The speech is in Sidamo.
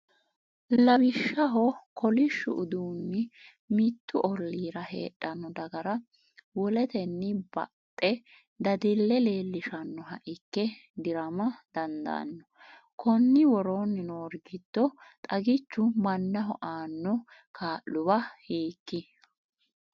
Lawishshaho, kolishshu uduunni mittu ollira heedhanno dagra woleteni baxxe dadille leellishannoha ikke di’rama dandaanno, Konni woroonni noori giddo xagichu mannaho aanno kaa’luwa hiik?